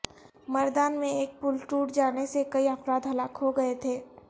مردان میں ایک پل ٹوٹ جانے سے کئی افراد ہلاک ہو گئے تھے